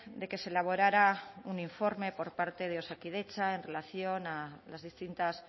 de que se elaborara un informe por parte de osakidetza en relación a las distintas